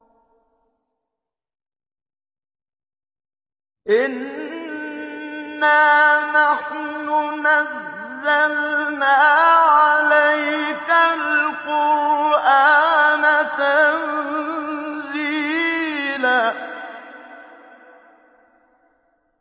إِنَّا نَحْنُ نَزَّلْنَا عَلَيْكَ الْقُرْآنَ تَنزِيلًا